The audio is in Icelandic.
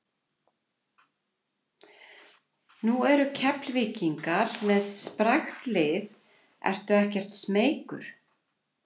Nú eru Keflvíkingar með sprækt lið ertu ekkert smeykur?